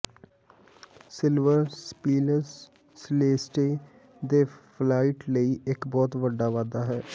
silver ਸਪੀਲਸ ਸਿਲੇਸਤੇ ਦੇ ਫਲੀਟ ਲਈ ਇੱਕ ਬਹੁਤ ਵੱਡਾ ਵਾਧਾ ਹੈ